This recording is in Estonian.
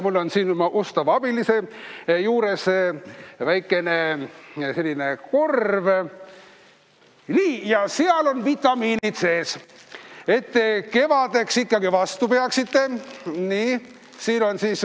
Mul on siin oma ustava abilise juures väikene korv ja seal on vitamiinid sees, et te kevadeni ikkagi vastu peaksite.